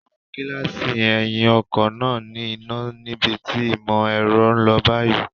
Àwọn gíláàsì ẹ̀yìn ọkọ̀ máa ní iná níbi tí ìmò ẹ̀rọ ń lọ báyìí.